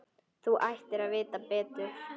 Þú ættir að vita betur!